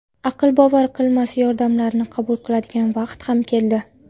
Aql bovar qilmas yordamlarni qabul qiladigan vaqt ham keldi.